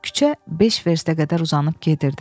Küçə beş verstə qədər uzanıb gedirdi.